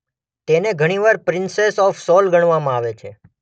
તેને ઘણીવાર princess of soul ગણવામાં આવે છે.